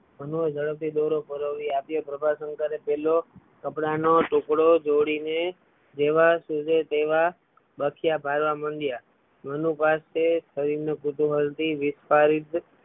મનું એ ઝડપથી દોરો પરોવી આપ્યો પ્રભાશંકરે પેલો કપડાં નો ટૂકડો જોડી ને જેવાં સુજે તેવા બથિયા ભરવા માંડ્યા મનું પાસે શરીર નું કુતૂહલ થી વિસ્તારિત